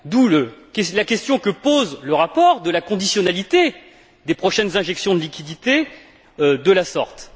D'où la question, que pose le rapport, de la conditionnalité des prochaines injections de liquidités de la sorte.